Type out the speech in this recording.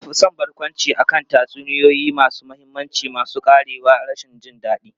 Na fi son barkwanci akan tatsuniyoyi masu mahimmanci masu ƙarewar rashin jin daɗi.